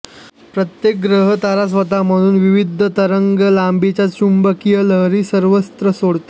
प्रत्येक ग्रह तारा स्वतःमधून विविध तरंगलांबीच्या चुंबकीय लहरी सर्वत्र सोडतो